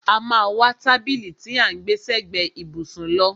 A má a wá tábìlì tí à ń gbẹ́ sẹ́gbẹ ìbùsùn lọ.